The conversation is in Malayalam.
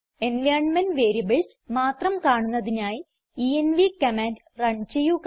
എൻവൈറൻമെന്റ് വേരിയബിൾസ് മാത്രം കാണുന്നതിനായി എൻവ് കമാൻഡ് റൺ ചെയ്യുക